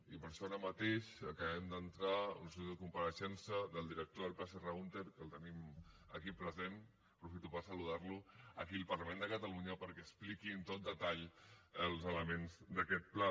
i per això ara mateix acabem d’entrar una sol·licitud de compareixença del director del pla serra húnter que el tenim aquí present aprofito per saludar lo aquí al parlament de catalunya perquè expliqui amb tot detall els elements d’aquest pla